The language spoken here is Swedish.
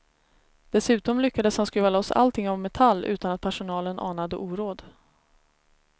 Dessutom lyckades han skruva loss allting av metall utan att personalen anade oråd.